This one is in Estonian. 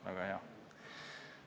Väga hea!